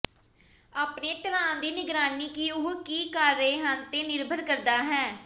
ਆਪਣੇ ਢਲਾਨ ਦੀ ਨਿਗਰਾਨੀ ਕਿ ਉਹ ਕੀ ਕਰ ਰਹੇ ਹਨ ਤੇ ਨਿਰਭਰ ਕਰਦਾ ਹੈ